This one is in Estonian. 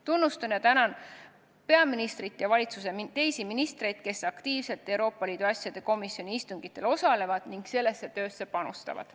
Tunnustan ja tänan peaministrit ja valitsuse teisi ministreid, kes aktiivselt Euroopa Liidu asjade komisjoni istungitel osalevad ning sellesse töösse panustavad.